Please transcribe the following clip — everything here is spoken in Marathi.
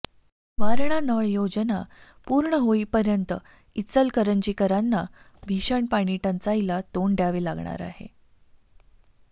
वारणा नळ योजना पूर्ण होईपर्यंत इचलकरंजीकरांना भीषण पाणी टंचाईला तोंड द्यावे लागणार आहे